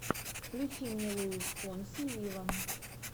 включи мне луис фонси виво